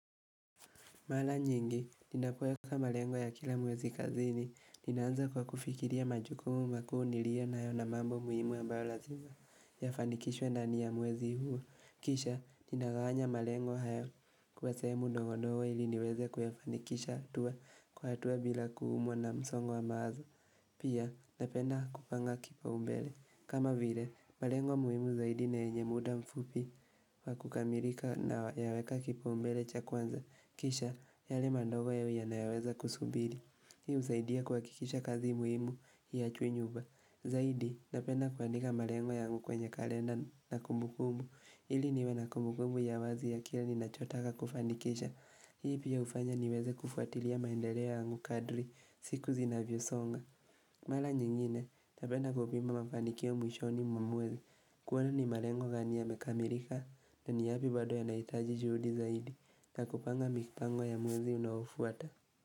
Mara nyingi ninapoweka malengo ya kila mwezi kazini, ninaanza kwa kufikiria majukumu makuu nilio nayo na mambo muhimu ambayo lazima yafanikishwe ndani ya mwezi huu. Kisha, ninagawanya malengo hayo kwa sehemu ndogo ndogo ili niweze kuyafanikisha hatua kwa hatua bila kuumwa na msongo wa mawazo. Pia, napenda kupanga kipaumbele. Kama vile, malengo muhimu zaidi na yenye muda mfupi kwa kukamilika na yaweka kipaumbele cha kwanza. Kisha yale mandogo ya yawi yanayoweza kusubiri Hii husaidia kwa kuhakikisha kazi muhimu haichwi nyuma chwenye uba Zahidi napena kuandika malengwa yangu kwenye kalenda na kumbukumu ili niwe na kumbukumu ya wazi ya kila ni nachotaka kufandikisha Hii pia ufanya niweze kufuatilia maendeleo yangu kadri siku zinavyosonga Mala nyingine napenda kupima mafandikio mwishoni mwa mwezi kuona ni malego gani yamekamirika na ni yapi bado yanahitaji juhudi zaidi kakupanga mipango ya mwezi unaofuata.